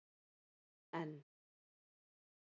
N